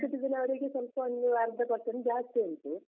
senior citizen ಅವ್ರಿಗೆ ಸ್ವಲ್ಪ ಒಂದು ಅರ್ಧ percent ಜಾಸ್ತಿ ಉಂಟು.